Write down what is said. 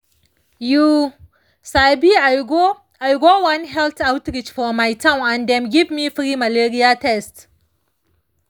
you sabi i go i go one health outreach for my town and dem give me free malaria test.